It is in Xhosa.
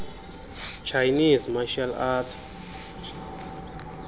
chinese martial arts